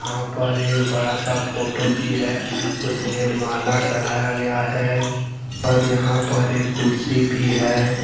यहां पर एक बड़ा सा फोटो भी है उसमें माला चढ़ाया गया है और यहां पर एक कुर्सी भी है।